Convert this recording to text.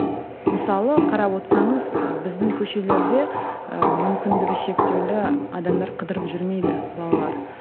мысалы қарап отырсаңыз біздің көшелерде ы мүмкіндігі шектеулі адамдар қыдырып жүрмейді балалар